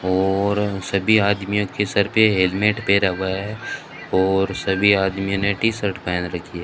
और सभी आदमियों के सर पे हेलमेट पैरा हुआ है और सभी आदमी ने टी शर्ट पहन रखी है।